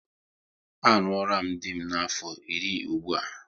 A ṅụọram dị m afọ iri ụgbụa